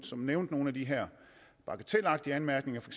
som nævnte nogle af de her bagatelagtige anmærkninger for